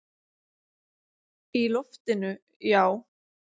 Í loftinu, já.